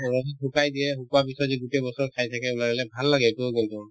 তাৰপিছত শুকাই দিয়ে শুকোৱাৰ পিছত যে গোটেই বছৰ খাই থাকে ওলাই ওলাই ভাল লাগে এইটো গোন্ধটো